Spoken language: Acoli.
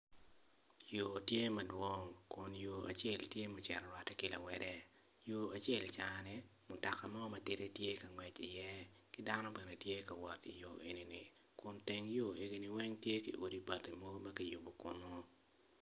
Yo tye madwong kun yo acel ocito orwatte ki lawote yo acel cani mutoka mo matidi tye ka ngwec iye ki dano bene tye ka wot iyo enini kun teng yo eni weng tye ki odi bati ma kiyubo kunu.